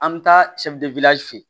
An bɛ taa fe yen